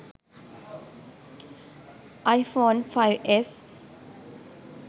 iphone 5s